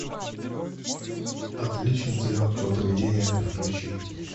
отличница легкого поведения включи